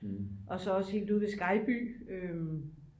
og så også helt ude ved skejby